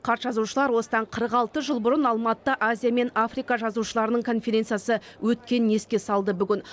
қарт жазушылар осыдан қырық алты жыл бұрын алматыда азия мен африка жазушыларының конференциясы өткенін еске салды бүгін